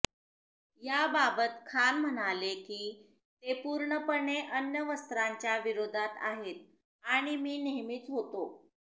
याबाबत खान म्हणाले की ते पूर्णपणे अण्वस्त्रांच्या विरोधात आहे आणि मी नेहमीच होतो